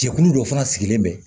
Jɛkulu dɔ fana sigilen bɛ